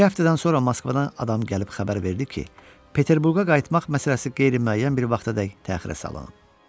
İki həftədən sonra Moskvadan adam gəlib xəbər verdi ki, Peterburqa qayıtmaq məsələsi qeyri-müəyyən bir vaxtadək təxirə salınıb.